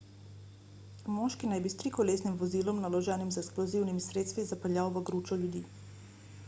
moški naj bi s trikolesnim vozilom naloženim z eksplozivnimi sredstvi zapeljal v gručo ljudi